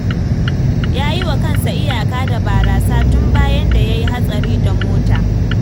Ya yi wa kansa iyaka da barasa tun bayan da ya yi hatsari da mota.